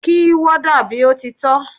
Kí warder bí ó ti tọ́!